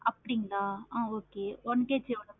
அப்படிங்கற ஆஹ் okay one KG எவ்வளோ?